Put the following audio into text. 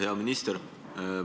Hea minister!